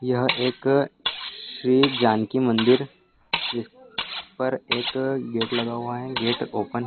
यह एक श्री जानकी मंदिर है इस पर एक गेट लगा हुआ है गेट ओपन --